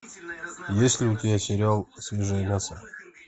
есть ли у тебя сериал свежее мясо